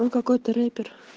какой ты рэпер